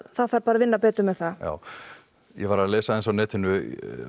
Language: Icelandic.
það þarf bara að vinna betur með það já ég var að lesa aðeins á netinu